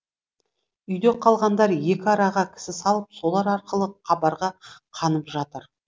үйде қалғандар екі араға кісі салып солар арқылы хабарға қанып жатыр